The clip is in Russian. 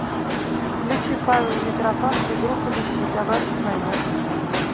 включи павел митрофанов и группа лещи товарищ майор